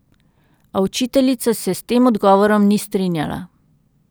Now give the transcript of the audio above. A učiteljica se s tem odgovorom ni strinjala.